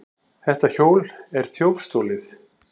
Þetta hjól er þjófstolið!